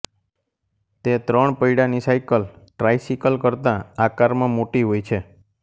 તે ત્રણ પૈડાની સાઈકલ ટ્રાઈસિકલ કરતા આકારમાં મોટી હોય છે